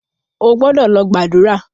O gbọ́dọ̀ lọ gbàdúrà!